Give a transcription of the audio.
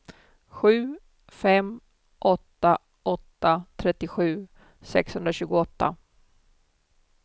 sju fem åtta åtta trettiosju sexhundratjugoåtta